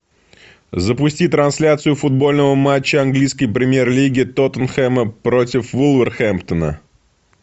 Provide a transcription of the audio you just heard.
запусти трансляцию футбольного матча английской премьер лиги тоттенхэма против вулверхэмптона